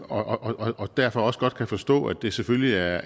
om og derfor også godt kan forstå at det selvfølgelig er